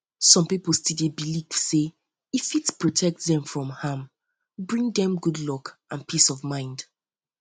some people still dey believe say e fit protect dem from harm bring dem dem good luck and um peace of mind